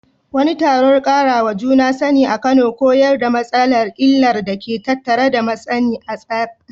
Wani taron ƙarawa juna sani a Kano koyar da matasa illar da ke tattare da matsi na tsara.